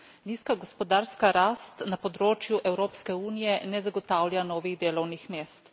Nizka gospodarska rast na področju Evropske unije ne zagotavlja novih delovnih mest.